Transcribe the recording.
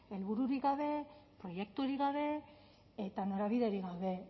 helbururik gabe proiekturik gabe eta norabiderik gabe